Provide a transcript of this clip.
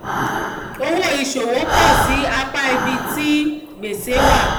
owó ìṣòwò pọ̀ síi ní apá ibi ní apá ibi tí gbèsè wà.